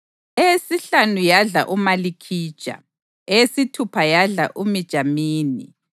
eyesihlanu yadla uMalikhija, eyesithupha yadla uMijamini,